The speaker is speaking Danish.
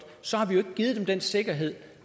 så har vi jo ikke givet dem den sikkerhed